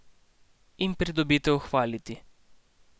In pridobitev hvaliti.